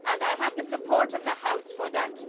Do I have the support of the House for that?